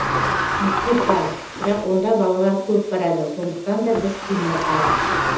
мектеп бар бірақ онда балалар көп барады сондықтан да біз сыймай қалдық